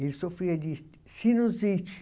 Ele sofria de sinusite.